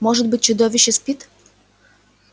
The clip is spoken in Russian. может быть чудовище спит